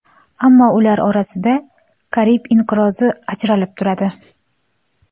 Ammo ular orasida Karib inqirozi ajralib turadi.